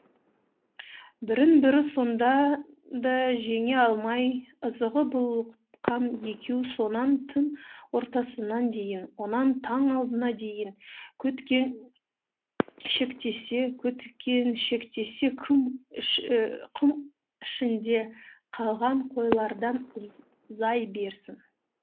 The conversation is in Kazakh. бірін бірі сонда да жеңе алмай ызаға булыққан екеу сонан түн ортасына дейін онан таң алдына дейін көткеншектесе көткеншектесе құм ішінде қалған қойлардан берсін